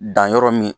Dan yɔrɔ min